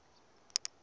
ka ri nga ri ra